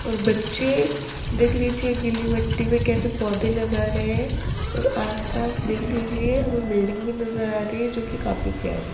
और बच्चे देख लीजिए गीली मट्टी में कैसे पौधे लगा रहे हैं और आसपास देख लीजिए हमें बिल्डिंग भी नजर आ रही है जो की काफी प्यारी --